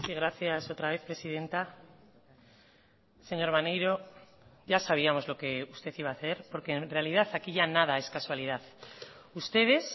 gracias otra vez presidenta señor maneiro ya sabíamos lo que usted iba a hacer porque en realidad aquí ya nada es casualidad ustedes